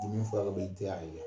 Ni dimini fura bɛ i tɛ a ye